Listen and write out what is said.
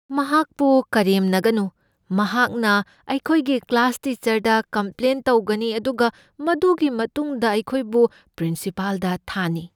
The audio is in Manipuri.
ꯃꯍꯥꯛꯄꯨ ꯀꯔꯦꯝꯅꯒꯅꯨ꯫ ꯃꯍꯥꯛꯅ ꯑꯩꯈꯣꯏꯒꯤ ꯀ꯭ꯂꯥꯁ ꯇꯤꯆꯔꯗ ꯀꯝꯄ꯭ꯂꯦꯟ ꯇꯧꯒꯅꯤ ꯑꯗꯨꯒ ꯃꯗꯨꯒꯤ ꯃꯇꯨꯡꯗ ꯑꯩꯈꯣꯏꯕꯨ ꯄ꯭ꯔꯤꯟꯁꯤꯄꯥꯜꯗ ꯊꯥꯅꯤ꯫